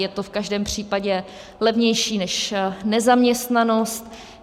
Je to v každém případě levnější než nezaměstnanost.